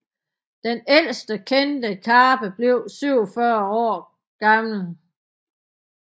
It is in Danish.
Den ældste kendte karpe blev 47 år gammel